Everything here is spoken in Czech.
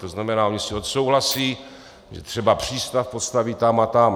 To znamená, oni si odsouhlasí, že třeba přístav postaví tam a tam.